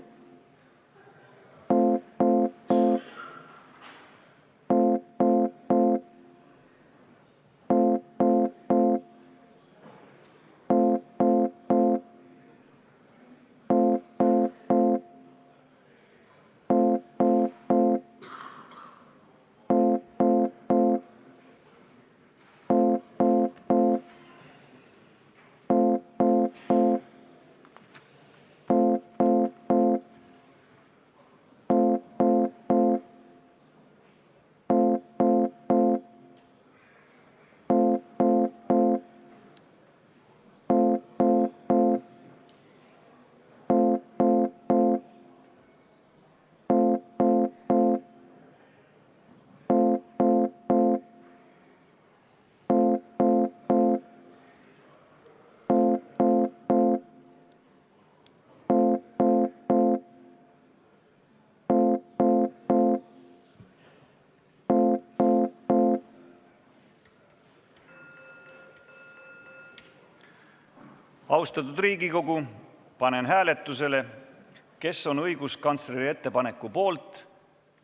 Austatud Riigikogu, panen hääletusele, kas olete õiguskantsleri ettepaneku poolt.